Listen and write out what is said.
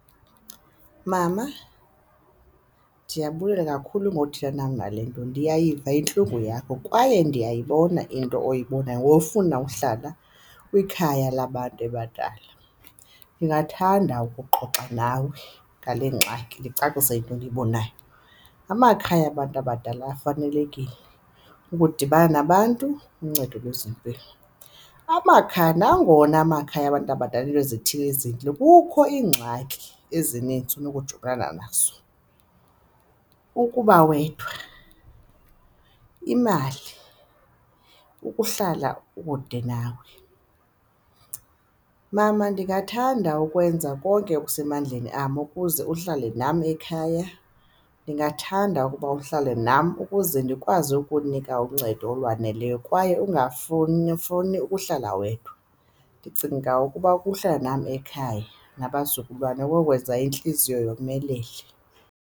Mama, ndiyabulela kakhulu ngothetha nam ngale nto. Ndiyayiva intlungu yakho kwaye ndiyayibona into oyibonayo ngofuna uhlala kwikhaya labantu abadala, ndingathanda ukuxoxa nawe ngale ngxaki ndicacise into endiyibonayo. Amakhaya abantu abadala afanelekile ukudibana nabantu, uncedo lwezempilo. Amakhaya, nangona amakhaya abantu abadala iinto ezithile ezintle. Kukho iingxaki ezininzi unokujongana nazo, ukuba wedwa, imali, ukuhlala ukude nawe. Mama, ndingathanda ukwenza konke okusemandleni am ukuze uhlale nam ekhaya, ndingathanda ukuba uhlale nam ukuze ndikwazi ukunika uncedo olwaneleyo kwaye ungafuni ukuhlala wedwa. Ndicinga ukuba ukuhlala nam ekhaya nabazukulwana kokwenza intliziyo yomelele.